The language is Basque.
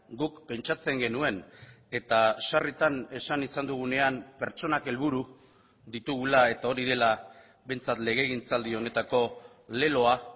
guk pentsatzen genuen eta sarritan esan izan dugunean pertsonak helburu ditugula eta hori dela behintzat legegintzaldi honetako leloa